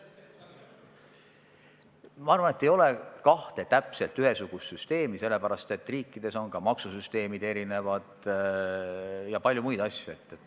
Ma arvan, et ei ole kahte täpselt ühesugust süsteemi, sest ka riikide maksusüsteemid ja paljud muud asjad on erinevad.